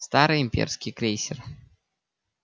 старый имперский крейсер